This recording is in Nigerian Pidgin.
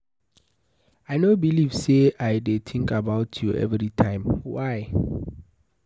I no believe say I dey think about you every time. Why?